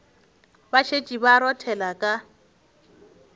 ba šetše ba rothela ka